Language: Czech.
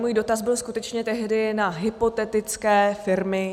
Můj dotaz byl skutečně tehdy na hypotetické firmy.